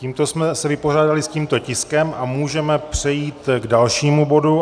Tímto jsme se vypořádali s tímto tiskem a můžeme přejít k dalšímu bodu.